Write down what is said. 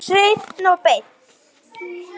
Hreinn og beinn.